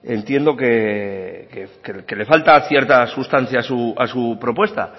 entiendo que le falta cierta sustancia a su propuesta